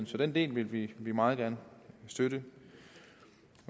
så den del vil vi vi meget gerne støtte